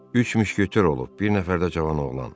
Üç müşketor olub, bir nəfər də cavan oğlan.